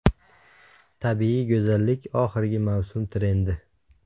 Tabiiy go‘zallik oxirgi mavsum trendi.